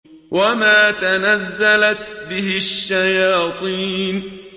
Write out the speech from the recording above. وَمَا تَنَزَّلَتْ بِهِ الشَّيَاطِينُ